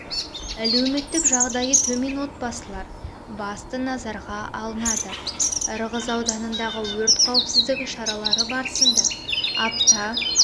әлеуметтік жағдайы төмен отбасылар басты назарға алында ырғыз ауданындағы өрт қауіпсіздігі шаралары барысында апта